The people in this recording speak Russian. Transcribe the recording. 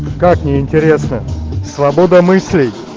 как неинтересно свобода мыслей